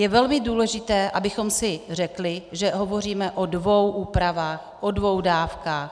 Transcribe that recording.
Je velmi důležité, abychom si řekli, že hovoříme o dvou úpravách, o dvou dávkách.